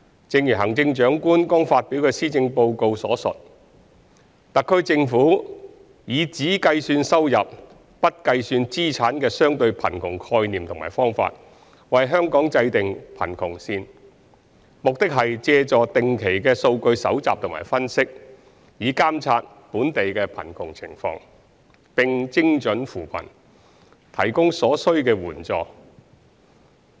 正如行政長官剛發表的施政報告所述，特區政府以只計算收入，不計算資產的相對貧窮概念和方法為香港制訂貧窮線，目的是借助定期的數據搜集和分析，以監察本地貧窮情況，並精準扶貧，提供所需的援助。